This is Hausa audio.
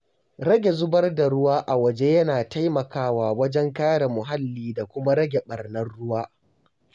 Rage zubar da ruwa a waje yana taimakawa wajen kare muhalli da kuma rage ɓarnar ruwa.